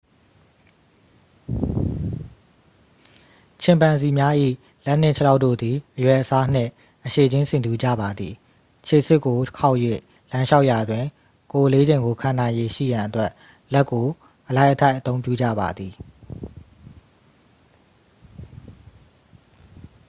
ချင်ပန်ဇီများ၏ လက်နှင့်ခြေထောက်တို့သည် အရွယ်အစားနှင့် အရှည်ခြင်း ဆင်တူကြပါသည် ခြေဆစ်ကိုခေါက်၍လမ်းလျှောက်ရာတွင် ကိုယ်အလေးချိန်ကိုခံနိုင်ရည်ရှိရန်အတွက် လက်ကို အလိုက်အထိုက်အသုံးပြုကြပါသည်